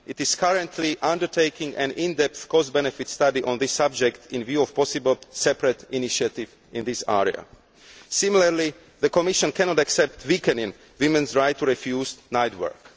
It is currently undertaking an in depth cost benefit study on the subject in view of a possible separate initiative in this area. Similarly, the Commission cannot accept weakening a woman's right to refuse night work.